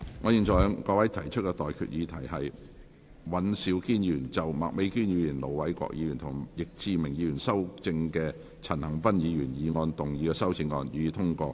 我現在向各位提出的待議議題是：尹兆堅議員就經麥美娟議員、盧偉國議員及易志明議員修正的陳恒鑌議員議案動議的修正案，予以通過。